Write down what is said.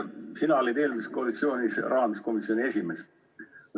Sina olid eelmises koalitsioonis rahanduskomisjoni esimees.